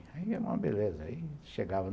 Era uma beleza